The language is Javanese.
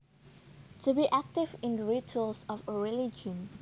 To be active in the rituals of a religion